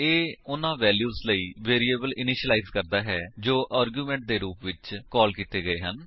ਇਹ ਉਨ੍ਹਾਂ ਵੈਲਿਊਜ ਲਈ ਵੇਰਿਏਬਲ ਇਨਿਸ਼ੀਲਾਇਜ ਕਰਦਾ ਹੈ ਜੋ ਆਰਗਿਉਮੇਂਟ ਦੇ ਰੂਪ ਵਿੱਚ ਕਾਲ ਕੀਤੇ ਹਨ